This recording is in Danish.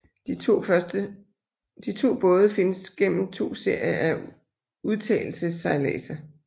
De to både findes gennem to serier af udtagelsessejladser